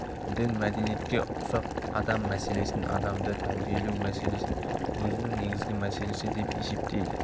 дін мәдениетке ұксап адам мәселесін адамды тәрбиелеу мәселесін өзінің негізгі мәселесі деп есептейді